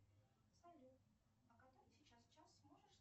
салют а который сейчас час можешь